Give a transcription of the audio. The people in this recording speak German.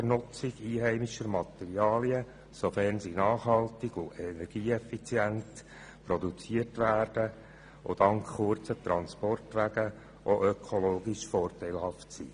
Das gilt auch für die Nutzung einheimischer Materialien, sofern sie nachhaltig und energieeffizient produziert werden und dank kurzer Transportwege auch ökologisch vorteilhaft sind.